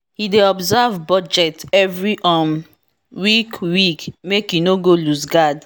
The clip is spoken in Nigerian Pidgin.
he dey observe budget every um week week make e no go looseguard